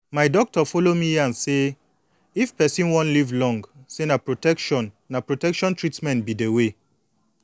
my doctor follow me yan say if person wan live long say na protection na protection treatment be de way